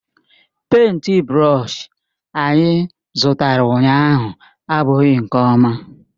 Pèịnt brọsh anyị zụtara ụnyahụ abụghị nke ọma.